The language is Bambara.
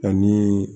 Ani